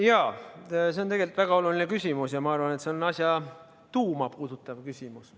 Jaa, see on tegelikult väga oluline küsimus ja ma arvan, et see on asja tuuma puudutav küsimus.